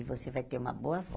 E você vai ter uma boa avó?